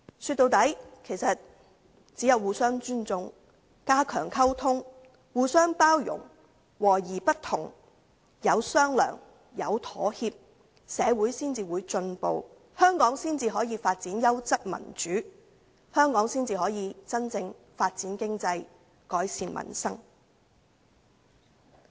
說到底，其實只有互相尊重、加強溝通、互相包容、和而不同、有商量、有妥協，社會才會進步，香港才可發展優質民主，才可真正發展經濟，改善民生。